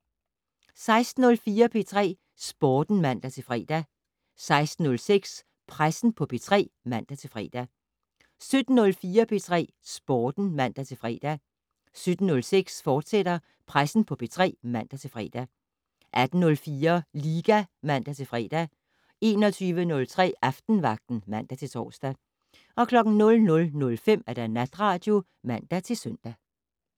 16:04: P3 Sporten (man-fre) 16:06: Pressen på P3 (man-fre) 17:04: P3 Sporten (man-fre) 17:06: Pressen på P3, fortsat (man-fre) 18:04: Liga (man-fre) 21:03: Aftenvagten (man-tor) 00:05: Natradio (man-søn)